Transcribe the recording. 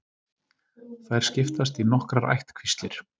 Þær skiptast í nokkrar ættkvíslir.